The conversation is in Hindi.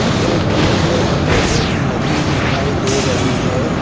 ये पिक में हमें एक नदी दिखाई दे रही है।